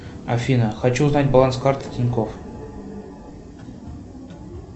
афина хочу узнать баланс карты тинькофф